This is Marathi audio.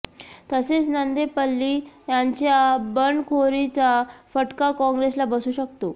तसेच नंदेपल्ली यांच्या बंडखोरीचा फटका काँग्रेसला बसू शकतो